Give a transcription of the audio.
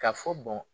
Ka fɔ